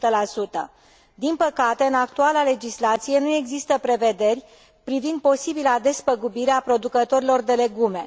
și 100. Din păcate, în actuala legislație, nu există prevederi privind posibila despăgubire a producătorilor de legume.